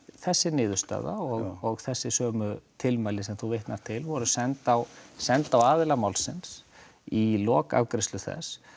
þessi niðurstaða og þessi sömu tilmæli sem þú vitnar til voru send á send á aðila málsins í lok afgreiðslu þess